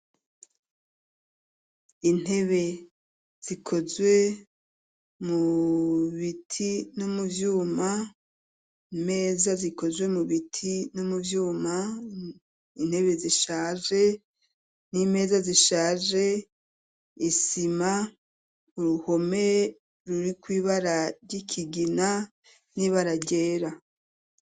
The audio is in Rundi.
Intebe zikozwe mu biti no mu vyuma meza zikozwe mu biti no mu vyuma intebe zishaje n'imeza zishaje isima uruhome ruriko ibara ry'ikigina n'ibararyera.